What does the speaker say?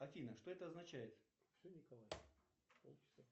афина что это означает